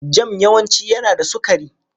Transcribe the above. Jam yawanci yana da sukari.